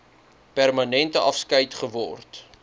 permanente afskeid geword